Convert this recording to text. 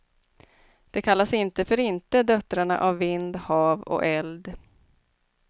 De kallas inte för inte döttrarna av vind, hav och eld.